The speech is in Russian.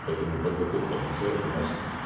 поэтому подготовка офицеров у нас